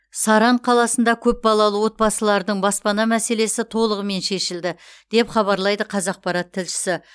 саран қаласында көпбалалы отбасылардың баспана мәселесі толығымен шешілді деп хабарлайды қазақпарат тілшісі